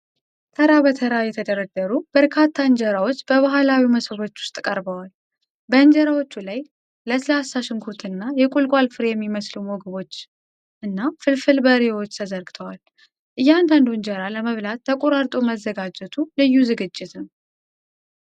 ተራ በተራ የተደረደሩ በርካታ እንጀራዎች በባህላዊ መሶቦች ውስጥ ተቀርበዋል፡፡ በእንጀራዎቹ ላይ ለስላሳ ሽንኩርትና የቁልቋል ፍሬ የሚመስሉ ምግቦችና ፍልፍል በርበሬዎች ተዘርግተዋል፡፡ እያንዳንዱ እንጀራ ለመብላት ተቆራርጦ መዘጋጀቱ ልዩ ዝግጅት ነው፡፡